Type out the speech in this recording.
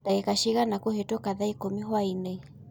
dagika cĩĩgana kuhituka thaa ĩkũmĩ hwaĩnĩ